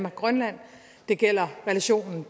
og grønland det gælder relationen